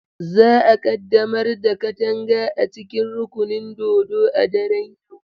Za a ƙaddamar da Kadanga a cikin rukunin dodo a daren yau.